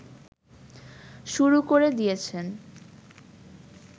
শুরু করে দিয়েছেন